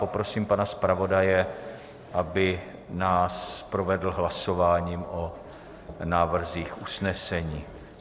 Poprosím pana zpravodaje, aby nás provedl hlasováním o návrzích usnesení.